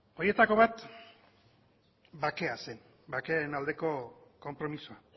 horietako bat bakea zen bakearen aldeko konpromisoa